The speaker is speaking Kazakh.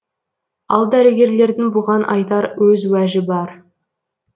ал дәрігерлердің бұған айтар өз уәжі бар